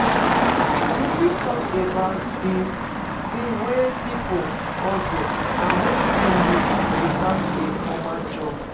You fit talk about di di ways people hustle and make ends meet without a formal job?